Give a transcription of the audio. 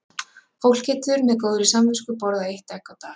Fólk getur með góðri samvisku borðað eitt egg á dag.